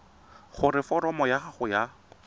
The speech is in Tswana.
gore foromo ya gago ya